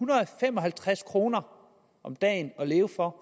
fem og halvtreds kroner om dagen at leve for